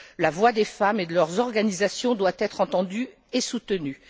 La voix des femmes et de leurs organisations doit être entendue et soutenue.